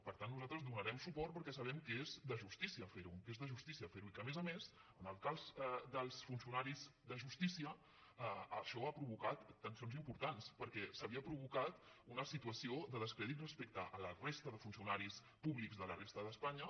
per tant nosaltres hi donarem suport perquè sabem que és de justícia fer·ho que és de justícia fer·ho i que a més a més en el cas dels funcionaris de justícia això ha provocat tensions importants perquè s’havia provocat una situació de descrèdit respecte a la resta de funcionaris públics de la resta d’espanya